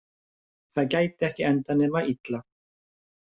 Það gæti ekki endað nema illa.